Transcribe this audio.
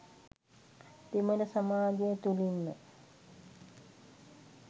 දෙමළ සමාජය තුළින්ම